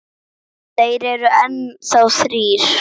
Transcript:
Þeir eru enn þá þrír.